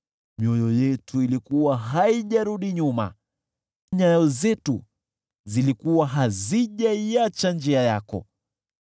Mioyo yetu ilikuwa haijarudi nyuma; nyayo zetu zilikuwa hazijaiacha njia yako.